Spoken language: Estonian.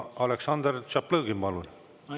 Aleksandr Tšaplõgin, palun!